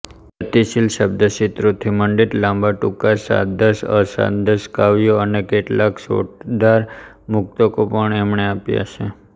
ગતિશીલ શબ્દચિત્રોથી મંડિત લાંબાટૂંકા છાંદસઅછાંદસ કાવ્યો અને કેટલાંક ચોટદાર મુક્તકો પણ એમણે આપ્યાં છે